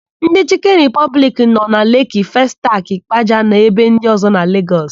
Ndị Chịkịn Ripọbliki nọ na Leeki, Festakị, Ịkpaja na ebe ndị ọ̀zọ́ na Legọs.